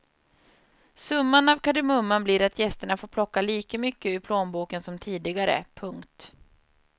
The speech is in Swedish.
Summan av kardemumman blir att gästerna får plocka lika mycket ur plånboken som tidigare. punkt